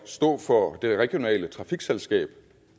stå for det regionale trafikselskab